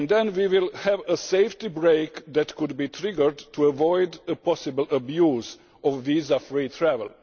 We will then have a safety brake that can be triggered to avoid a possible abuse of visa free travel.